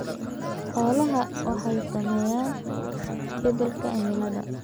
Xoolaha waxaa saameeya isbeddelka cimilada.